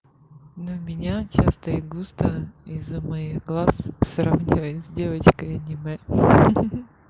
но меня часто и густо из-за моих глаз сравнивает с девочкой аниме